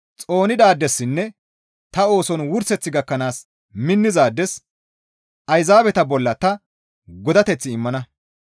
Xoonidaadessinne ta ooson wurseth gakkanaas minnizaades Ayzaabeta bolla ta godateth immana.